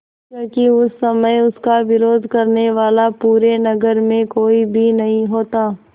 क्योंकि उस समय इसका विरोध करने वाला पूरे नगर में कोई भी नहीं होता